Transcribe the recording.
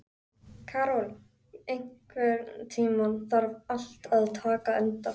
Karol, einhvern tímann þarf allt að taka enda.